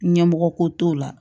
Ɲɛmɔgɔ ko t'o la